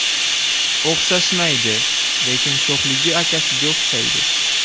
O‘xshashmaydi, lekin sho‘xligi akasiga o‘xshaydi.